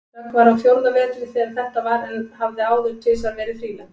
Dögg var á fjórða vetri þegar þetta var en hafði áður tvisvar verið þrílembd.